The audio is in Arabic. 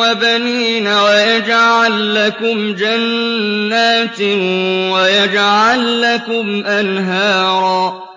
وَبَنِينَ وَيَجْعَل لَّكُمْ جَنَّاتٍ وَيَجْعَل لَّكُمْ أَنْهَارًا